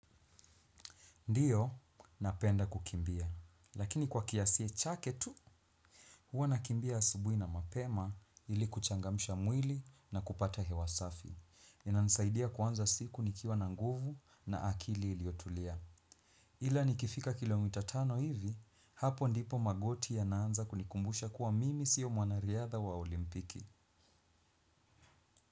Ndiyo, napenda kukimbia. Lakini kwa kiasi chake tu, huwa nakimbia asubui na mapema ili kuchangamsha mwili na kupata hewa safi. Inanisaidia kuanza siku nikiwa na nguvu na akili iliotulia. Ila nikifika kilomita tano hivi, hapo ndipo magoti yanaanza kunikumbusha kuwa mimi siyo mwanariadha wa olimpiki.